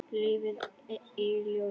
Líf í ljósi.